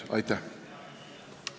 Aitäh!